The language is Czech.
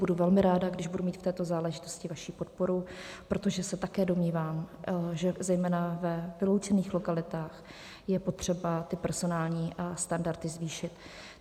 Budu velmi ráda, když budu mít v této záležitosti vaši podporu, protože se také domnívám, že zejména ve vyloučených lokalitách je potřeba ty personální standardy zvýšit.